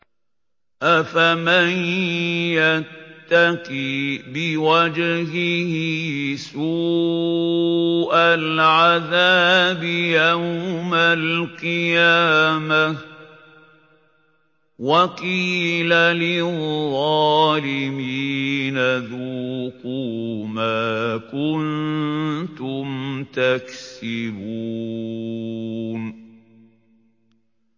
أَفَمَن يَتَّقِي بِوَجْهِهِ سُوءَ الْعَذَابِ يَوْمَ الْقِيَامَةِ ۚ وَقِيلَ لِلظَّالِمِينَ ذُوقُوا مَا كُنتُمْ تَكْسِبُونَ